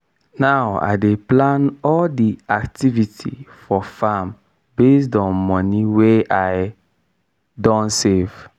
now i dey plan all di activity for farm based on moni wey i don save.